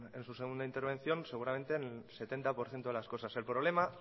en su segunda intervención seguramente en el setenta por ciento de las cosas el problema